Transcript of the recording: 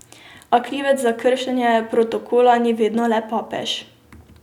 A krivec za kršenje protokola ni vedno le papež.